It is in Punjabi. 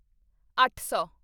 ਅੱਠ ਸੌ